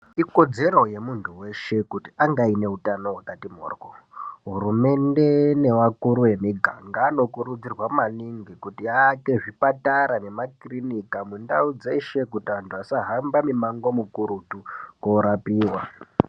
Ikodzere yemunthu weshe kuti ange aine utano hwakati mhorhyo, hurumende nevakuru emiganga anokurudzirwa maningi kuti awake zvipatara nemakirinika mundau dzeshe kuti vanthu vasahamba mimango mukurutu koorapiwa.